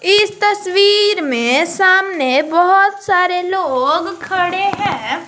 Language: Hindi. इस तस्वीर में सामने बहुत सारे लोग खड़े हैं।